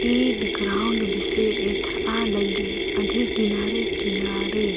Eid ground बीसे एथरआलगी अधी किनारे किनारे--